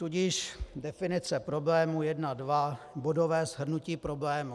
Tudíž definice problémů, 1.2 Bodové shrnutí problémů.